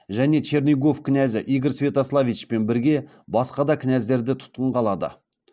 және чернигов князы игорь святославичпен бірге басқа да княздерді тұтқынға алады